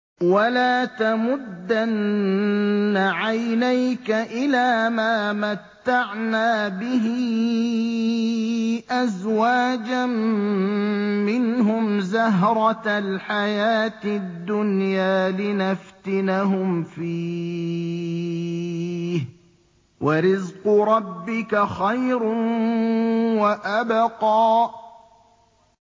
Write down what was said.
وَلَا تَمُدَّنَّ عَيْنَيْكَ إِلَىٰ مَا مَتَّعْنَا بِهِ أَزْوَاجًا مِّنْهُمْ زَهْرَةَ الْحَيَاةِ الدُّنْيَا لِنَفْتِنَهُمْ فِيهِ ۚ وَرِزْقُ رَبِّكَ خَيْرٌ وَأَبْقَىٰ